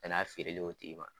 Tɛn'a feerelen o tigi ma